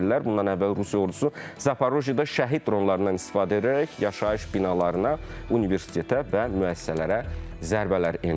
Bundan əvvəl Rusiya ordusu Zaporojyeda şəhid dronlarından istifadə edərək yaşayış binalarına, universitetə və müəssisələrə zərbələr endirmişdir.